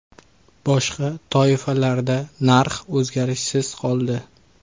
Boshqa toifalarda narx o‘zgarishsiz qoldi.